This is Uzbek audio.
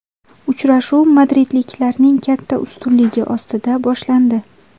Uchrashuv madridliklarning katta ustunligi ostida boshlandi.